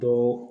Dɔw